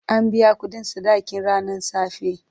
An biya kuɗin sadakin ranan safe.